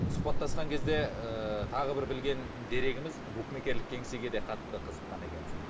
сұхбаттасқан кезде ыыы тағы бір білген дерегіміз букмекерлік кеңсеге де қатты қызыққан екенсің